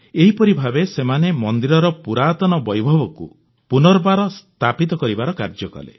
ଏହିପରି ଭାବେ ସେମାନେ ମନ୍ଦିରର ପୁରାତନ ବୈଭବକୁ ପୁନର୍ବାର ସ୍ଥାପିତ କରିବାର କାର୍ଯ୍ୟ କଲେ